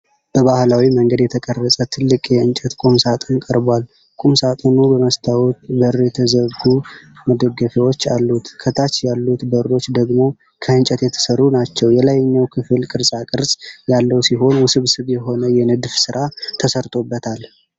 በባህላዊ መንገድ የተቀረጸ ትልቅ የእንጨት ቁምሳጥን ቀርቧል። ቁምሳጥኑ በመስታወት በር የተዘጉ መደርደሪያዎች አሉት። ከታች ያሉት በሮች ደግሞ ከእንጨት የተሠሩ ናቸው። የላይኛው ክፍል ቅርጻቅርጽ ያለው ሲሆን፣ ውስብስብ የሆነ የንድፍ ሥራ ተሠርቶበታል።